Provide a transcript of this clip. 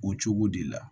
O cogo de la